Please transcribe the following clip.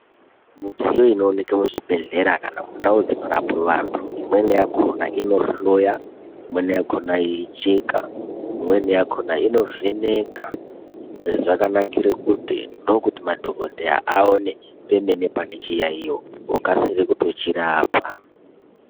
Midziyo inooneke muzvibhedhleya kana mundau dzinorapwe vantu, imweni yakhona inohloya, imweni yakhona yeicheka, imweni yakhona yeivheneka. Izvi zvakanakire kuti ndokuti madhokodheya aone pemene pane chiyaiyo, vokasire kutochirapa.